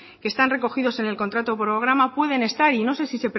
están recogidos en el contrato programa pueden estar y no sé